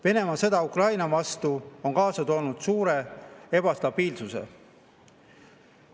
Venemaa sõda Ukraina vastu on kaasa toonud suure ebastabiilsuse.